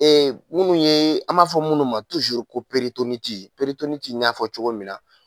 Ee minnu ye an b'a fɔ minnu ma ko n y'a fɔ cogo min na